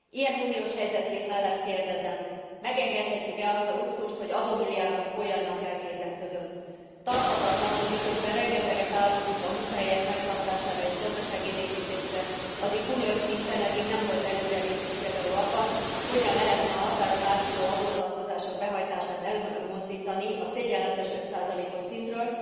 Ilyen uniós helyzetkép mellett kérdezem megengedhetjük e azt a luxust, hogy adómilliárdok folyjanak el kézen közön? Tarthatatlan, hogy miközben rengeteget áldozunk a munkahelyek megtartására és gazdaságélénkítésre, addig uniós szinten eddig nem volt előrelépés például abban, hogyan lehetne a határon átnyúló adótartozások behajtását előmozdítani a szégyenletes 5 os szintről.